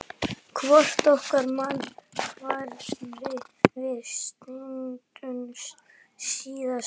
Hvorugt okkar man hvenær við snertumst síðast.